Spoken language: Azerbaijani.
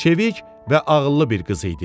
Çevik və ağıllı bir qız idi.